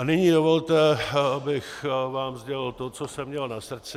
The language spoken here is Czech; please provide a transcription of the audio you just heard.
A nyní dovolte, bych vám sdělil to, co jsem měl na srdci.